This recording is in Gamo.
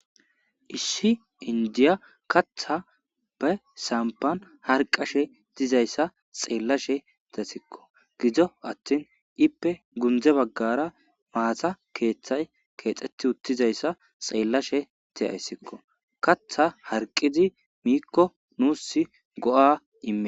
issi inddiya katha pe samppan harqqashe dizayssa xeellashe dasikko gido athin ippe gundde baggara maatha keeththay keexxetti uttizayssa xeellashe de7aysikko. katha harqqidi miikko nuussi go7aa ime.